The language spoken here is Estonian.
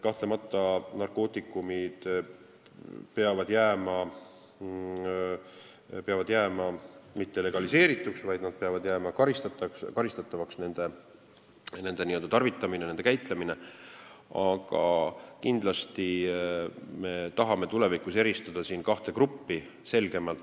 Kahtlemata peavad narkootikumid jääma mittelegaliseerituks, nende tarvitamine ja käitlemine peab jääma karistatavaks, aga kindlasti me tahame tulevikus selgemalt eristada kahte gruppi.